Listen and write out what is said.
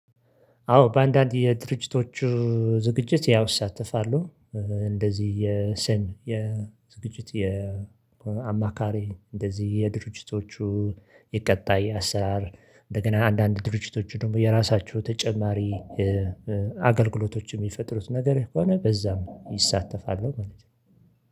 አዎ በአንዳንድ የድርጅቶቹ ዝግጅት ያው እሳሳተፋሉ እንደዚህ የዝግጅት የአማካሪ እንደዚህ የድርጅቶቹ የቀጣይ አሰራር እንደገና አንዳንድ ድርጅቶች ደግሞ የራሳችሁ ተጨማሪ አገልግሎቶች የሚፈጥሩት ነገር ከሆነ በዛም ይሳተፋሉ ማለት ነው።